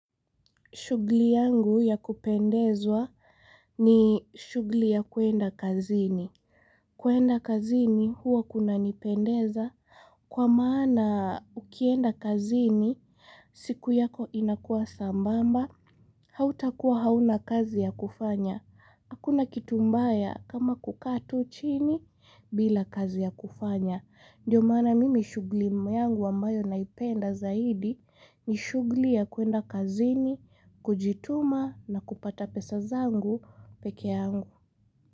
Shughuli yangu ya kupendezwa ni shughuli ya kuenda kazini. Kuenda kazini huo kunanipendeza kwa maana ukienda kazini siku yako inakuwa sambamba. Hautakuwa hauna kazi ya kufanya. Akuna kitu mbaya kama kukaa tu chini bila kazi ya kufanya. Ndiyo maana mimi shughulimu yangu wambayo naipenda zaidi ni shughuli ya kuenda kazini, kujituma na kupata pesa zangu pekee yangu.